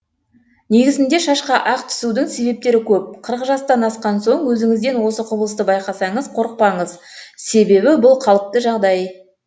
негізінде шашқа ақ түсудің себептері көп қырық жастан асқан соң өзіңізден осы құбылысты байқасаңыз қорықпаңыз себебі бұл қалыпты жағдай